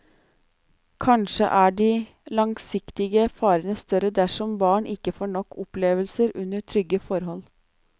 Kanskje er de langsiktige farene større dersom barn ikke får nok opplevelser under trygge forhold.